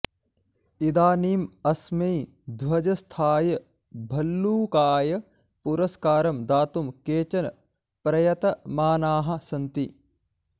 इदानीं अस्मै ध्वजस्थाय भल्लूकाय पुरस्कारं दातुं केचन प्रयतमानाः सन्ति